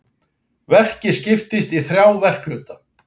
Verkið skiptist í þrjá verkhluta